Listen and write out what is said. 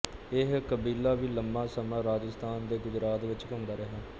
ਇਹ ਕਬੀਲਾ ਵੀ ਲੰਮਾ ਸਮਾਂ ਰਾਜਸਥਾਨ ਅਤੇ ਗੁਜਰਾਤ ਵਿੱਚ ਘੁੰਮਦਾ ਰਿਹਾ